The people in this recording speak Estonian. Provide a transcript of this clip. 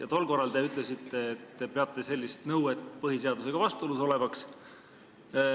Ja tol korral te ütlesite, et te peate sellist nõuet põhiseadusega vastuolus olevaks.